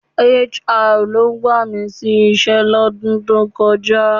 HR ló gbà mí sí iṣẹ́ lọ́dún tó kọjá